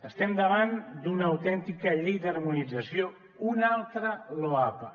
estem davant d’una autèntica llei d’harmonització una altra loapa